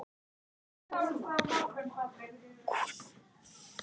Þessi nýjung gat gert tækin mikið nákvæmari en áður.